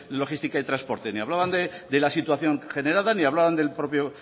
logística y transporte ni hablaban de la situación generada ni hablaban del propio